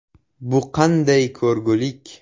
“Bu qanday ko‘rgulik.